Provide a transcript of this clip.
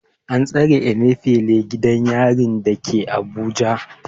An tsare Emefile a gidan yarin Kuje da ke Abuja.